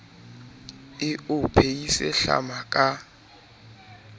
e o phehise hlama ka